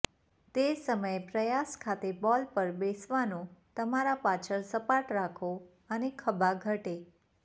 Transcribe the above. તે જ સમયે પ્રયાસ ખાતે બોલ પર બેસવાનો તમારા પાછળ સપાટ રાખો અને ખભા ઘટે